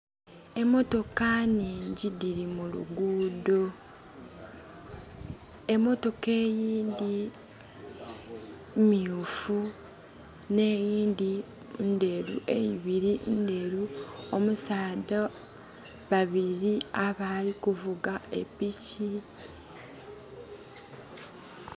Emotoka nhingi dili mu luguudo. Emotoka eyindi myufu, n' eyindi ndheru, eibiri ndheru. Omusaadha...babili abali kuvuga e piki.